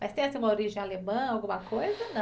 Mas tem assim uma origem alemã, alguma coisa?